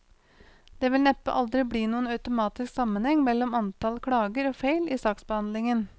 Det vil neppe aldri bli noen automatisk sammenheng mellom antall klager og feil i saksbehandlingen.